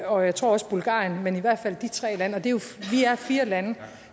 og jeg tror også bulgarien men i hvert fald de tre lande vi er fire lande